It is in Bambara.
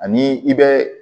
Ani i bɛ